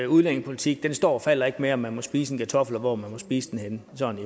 udlændingepolitik står og falder ikke med om man må spise en kartoffel og hvor man må spise den henne sådan